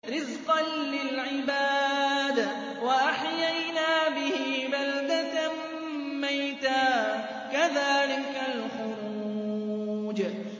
رِّزْقًا لِّلْعِبَادِ ۖ وَأَحْيَيْنَا بِهِ بَلْدَةً مَّيْتًا ۚ كَذَٰلِكَ الْخُرُوجُ